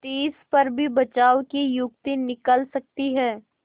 तिस पर भी बचाव की युक्ति निकल सकती है